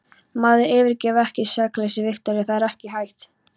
Maður yfirgefur ekki sakleysið, Viktoría, það er ekki hægt.